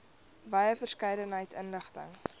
wye verskeidenheid inligting